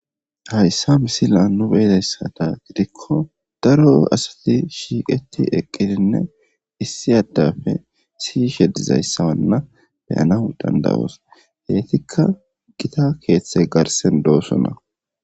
hayssa misila nu beedayssata gidikko daro asati shiiqeti eqqidinne issi addafe siy she dizayssawanna beyana dandawoos heytikka gita keeththe garsen doosonna